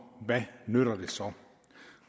hvad nytter det så og